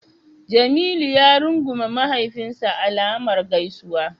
Jamilu ya rungume mahaifinsa alamar gaisuwa.